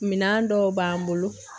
Minɛn dɔw b'an bolo